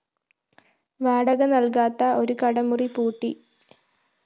വാടക നല്‍കാത്ത ഒരു കടമുറി പൂട്ടി